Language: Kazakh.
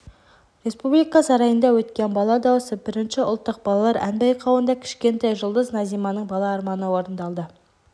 республика сарайында өткен бала дауысы бірінші ұлттық балалар ән байқауында кішкентай жұлдыз назиманың бала арманы орындалды